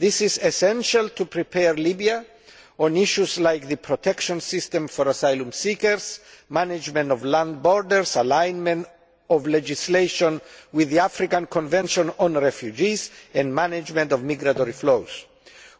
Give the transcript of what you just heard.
It is essential to prepare Libya with regard to issues such as the protection system for asylum seekers, the management of land borders, the alignment of legislation with the African convention on refugees and the management of migratory flows.